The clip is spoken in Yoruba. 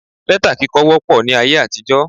Lẹ́tà kíkọ wópọ̀ ní ayé àtijó